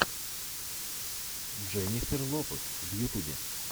дженнифер лопез в ютубе